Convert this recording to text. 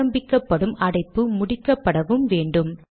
ஆரம்பிக்கப்படும் அடைப்பு முடிக்கப் படவும் வேண்டும்